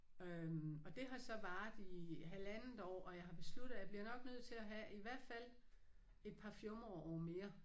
Øh og det har så varet i halvandet år og jeg har besluttet at jeg bliver nok nødt til at have i hvert fald et par fjumreår mere